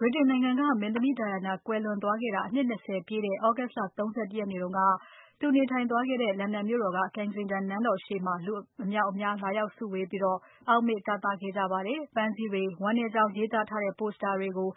ဗြိတိန်နိုင်ငံက မင်းသမီး Diana ကွယ်လွန်သွားခဲ့တာ အနှစ် ၂၀ ပြည့်တဲ့ သြဂုတ် လ ၃၁ ရက်နေ့က သူနေထိုင်သွားခဲ့တဲ့ လန်ဒန်မြို့တော်က Kensington နန်းတော်ရှေ့မှာ လူအမြောက်အများလာရောက်ဆုဝေးပြီး အောက်မေ့တသခဲ့ကြပါတယ်။ ပန်းစည်းတွေ၊ ဝမ်းနည်းကြောင်းရေးသားထားတဲ့ Poster တွေကို